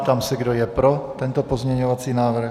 Ptám se, kdo je pro tento pozměňovací návrh?